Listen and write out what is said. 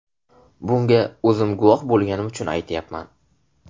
Bunga o‘zim guvoh bo‘lganim uchun aytyapman.